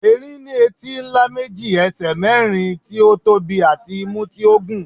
erin ní etí ńlá méjì, ẹsẹ mérin tí ó tóbi àti imú tí ó gùn